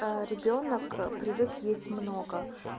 ребёнок привык есть много